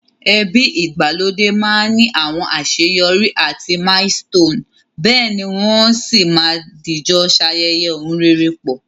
Ebi ìgbàlódé ma ni àwon àseyorí àti milestone, béèni won si ma dìjo sayẹyẹ oun rere pọ̀